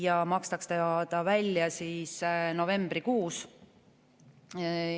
See makstakse välja novembrikuus.